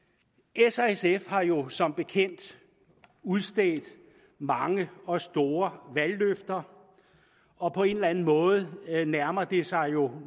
s og sf har jo som bekendt udstedt mange og store valgløfter og på en eller anden måde nærmer det sig jo